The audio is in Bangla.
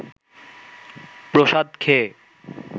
প্রসাদ খেয়ে